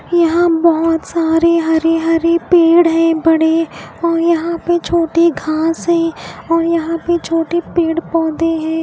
यहां बहोत सारे हरे हरे पेड़ हैं बड़े औ यहां पे छोटी घास है और यहां पर छोटे पेड़ पौधे हैं।